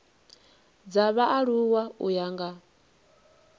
dza vhaaluwa u ya nga